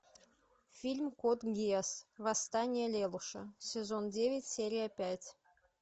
фильм код гиас восстание лелуша сезон девять серия пять